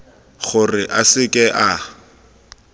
gore a se ke a